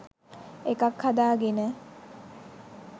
එකක් හදා ගෙන